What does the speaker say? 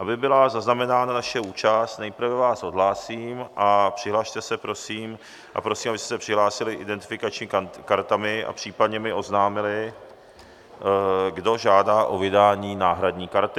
Aby byla zaznamenána naše účast, nejprve vás odhlásím a prosím, abyste se přihlásili identifikačními kartami a případně mi oznámili, kdo žádá o vydání náhradní karty.